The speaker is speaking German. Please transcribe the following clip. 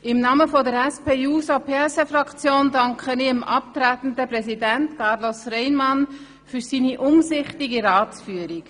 Im Namen der SP-JUSO-PSA-Fraktion danke ich dem abtretenden Präsidenten Carlos Reinhard für seine umsichtige Ratsführung.